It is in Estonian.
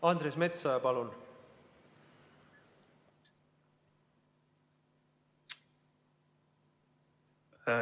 Andres Metsoja, palun!